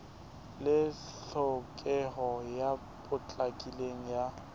le tlhokeho e potlakileng ya